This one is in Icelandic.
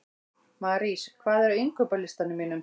Marís, hvað er á innkaupalistanum mínum?